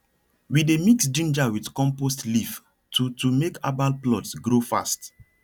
we dey mix ginger with compost leaf to to make herbal plots grow fast